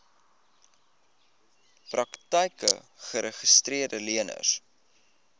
praktyke geregistreede leners